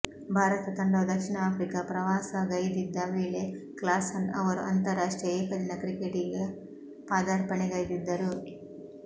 ಭಾರತ ತಂಡವು ದಕ್ಷಿಣ ಆಫ್ರಿಕಾ ಪ್ರವಾಸಗೈದಿದ್ದ ವೇಳೆ ಕ್ಲಾಸನ್ ಅವರು ಅಂತಾರಾಷ್ಟ್ರೀಯ ಏಕದಿನ ಕ್ರಿಕೆಟಿಗೆ ಪಾದಾರ್ಪಣೆಗೈದಿದ್ದರು